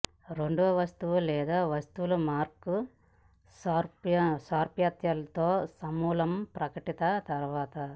రెండవ వస్తువు లేదా వస్తువులను మార్క్ సారూప్యతలు తో సమూహం ప్రకటిత తరువాత